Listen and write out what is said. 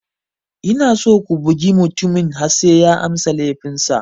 Ina so ku bugi mutumin har sai ya amsa laifinsa.